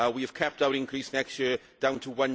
We have kept our increase next year down to